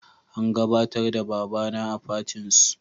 An gabatar da baba na a fatin su